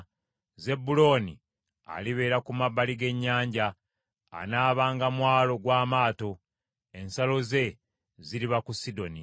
Zebbulooni alibeera ku mabbali ga nnyanja; anaabanga mwalo gw’amaato, ensalo ze ziriba ku Sidoni.